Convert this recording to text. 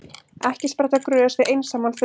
Ekki spretta grös við einsamlan þurrk.